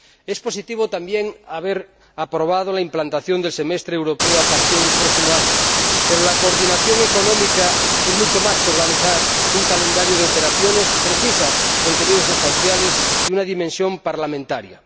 Es positivo también haber aprobado la implantación del semestre europeo a partir del próximo año, pero la coordinación económica es mucho más que organizar un calendario de operaciones precisa contenidos sustanciales y una dimensión parlamentaria.